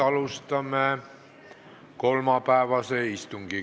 Alustame kolmapäevast istungit.